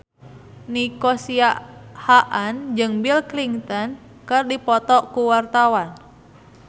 Nico Siahaan jeung Bill Clinton keur dipoto ku wartawan